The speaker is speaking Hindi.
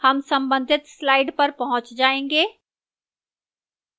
हम संबधित slide पर पहुंच जायेंगे